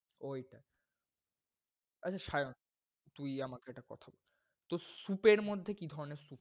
ওইটায়। আচ্ছা সায়ন তুই আমাকে একটা কথা বল, তোর soup এর মধ্যে কি ধরনের soup